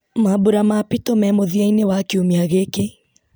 mambura ma pito me mũthia-inĩ wa kiumia gĩkĩ